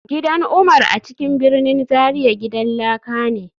Gidan Umar a cikin birnin Zaria gidan laka ne